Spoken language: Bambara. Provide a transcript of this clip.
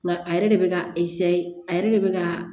Nka a yɛrɛ de bɛ ka a yɛrɛ de bɛ ka